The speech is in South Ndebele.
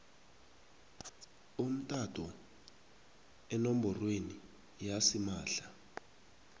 umtato enomborweni yasimahla